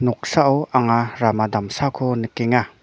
noksao anga rama damsako nikenga.